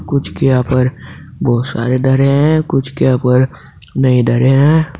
कुछ के यहां पर बहुत सारे धरे हैं कुछ के यहां पर नहीं धरे हैं।